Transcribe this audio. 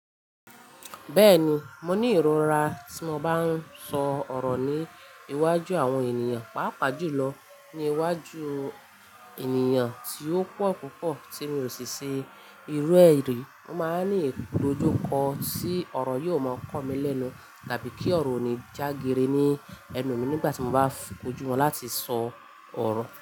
Bẹ́ẹ̀ni, mo ní ìrora tí mo bá ń sọ ọ̀rọ̀ ní iwájú àwọn ènìyàn, pàápàá jùlọ ní iwájú ènìyàn tí ó pọ̀ púpọ̀ tí mi ò sì se ìrú ẹrí. Mo máa ń ní ìdojúko tí ọ̀rọ̀ yóò máa kọ́ mi lẹ́nu tàbí kí ọ̀rọ̀ ò ní já geere ní ẹnu mi nígbà tí mo bá kojú wọn láti sọ ọ̀rọ̀.